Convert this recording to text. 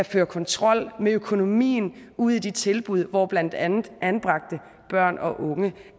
føre kontrol med økonomien ude i de tilbud hvor blandt andet anbragte børn og unge